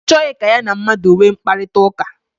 Ọ chọghị ka ya na mmadụ nwee mkparịta ụka.